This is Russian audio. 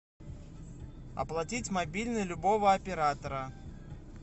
оплатить мобильный любого оператора